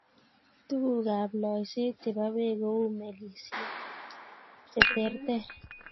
Tuguukab loiseet chebo beek kou melisyek cheterter.